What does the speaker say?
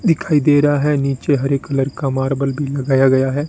दिखाई दे रहा है नीचे हरे कलर का मार्बल भी लगाया गया है।